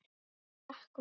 Allt gekk vel.